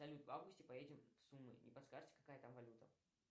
салют в августе поедем в сумы не подскажите какая там валюта